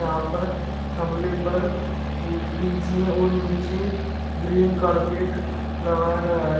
यहां पर थमले पर बीच में और नीचे ग्रीन कारपेट लगाया गया है।